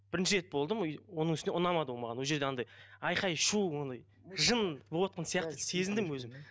бірінші рет болдым оның үстіне ұнамады ол маған ол жерде андай айқай шу ондай жын болыватқан сияқты сезіндім өзім